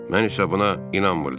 Mən isə buna inanmırdım.